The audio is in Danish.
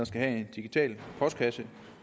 skal have en digital postkasse